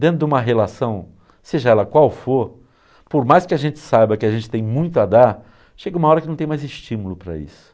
Dentro de uma relação, seja ela qual for, por mais que a gente saiba que a gente tem muito a dar, chega uma hora que não tem mais estímulo para isso.